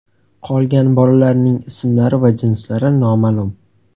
Qolgan bolalarining ismlari va jinslari noma’lum.